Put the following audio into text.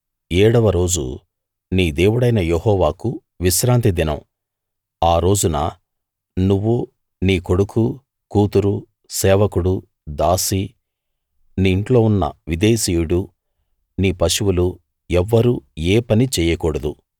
ఏడవ రోజు నీ దేవుడైన యెహోవాకు విశ్రాంతి దినం ఆ రోజున నువ్వు నీ కొడుకు కూతురు సేవకుడు దాసీ నీ ఇంట్లో ఉన్న విదేశీయుడు నీ పశువులు ఎవ్వరూ ఏ పనీ చెయ్యకూడదు